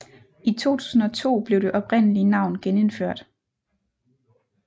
I 2002 blev det oprindelige navn genindført